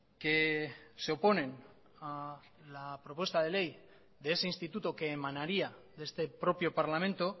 que se oponen a la propuesta de ley de ese instituto que emanaría de este propio parlamento